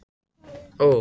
Nei, það mun ég ekki gera